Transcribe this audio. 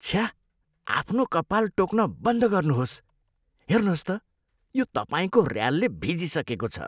छ्या! आफ्नो कपाल टोक्न बन्द गर्नुहोस्। हेर्नुहोस् त, यो तपाईँको ऱ्यालले भिजिसकेको छ।